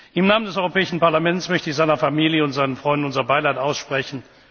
Im Namen des Europäischen Parlaments möchte ich seiner Familie und seinen Freunden unser Beileid aussprechen.